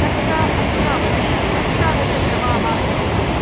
तत्र अधुनावधि अष्टादशशवाः सम्प्राता।